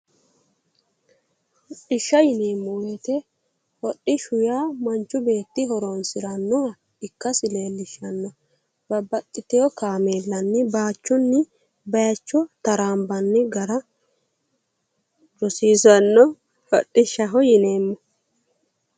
Hodhishsha yineemmo woyite hodhishshu manchi beetti horoonsira ikassi leellishshanno babaxiteewo kaameellanni bayichuyi bayiicho taraanbanni hara rosiissano hodhishshaho yineemmo